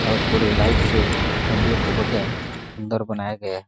और पुरे लाइट से मंदिर को बढ़िया सूंदर बनाया गया है।